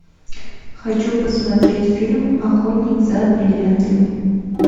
хочу посмотреть фильм охотник за бриллиантами